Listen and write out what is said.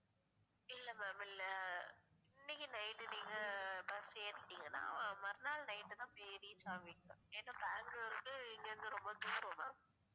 இல்ல ma'am இல்ல இன்னைக்கு night நீங்க bus ஏறிட்டீங்கன்னா மறுநாள் night தான் போய் reach ஆவிங்க ஏன்னா பெங்களூர்க்கு இங்க இருந்து ரொம்ப தூரம் ma'am